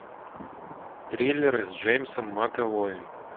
триллеры с джеймсом макэвоем